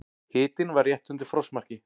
Hitinn var rétt undir frostmarki.